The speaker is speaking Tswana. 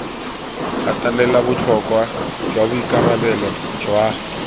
gatelela botlhokwa jwa boikarabelo jwa